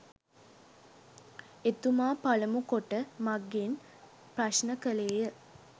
එතුමා පළමු කොට මගෙන් ප්‍රශ්න කළේය.